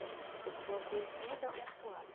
bordei todas minhas toalha.